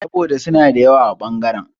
Saboda suna da yawa a ɓangaren.